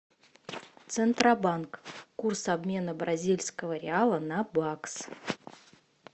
центробанк курс обмена бразильского реала на бакс